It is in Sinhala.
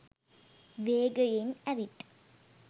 වේගයෙන් ඇවිත්